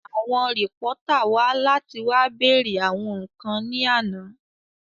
Àwọn rìpọ́tà wá láti wá bèèrè àwọn ǹkan ní àná